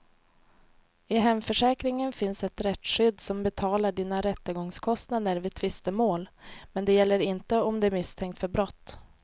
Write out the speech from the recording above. I hemförsäkringen finns ett rättsskydd som betalar dina rättegångskostnader vid tvistemål, men det gäller inte om du är misstänkt för brott.